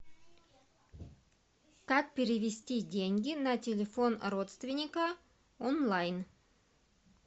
как перевести деньги на телефон родственника онлайн